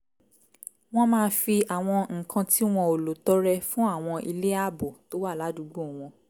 wọ́n máa fi àwọn nǹkan tí wọn ò lò tọrẹ fún àwọn ilé ààbò tó wà ládùúgbò wọn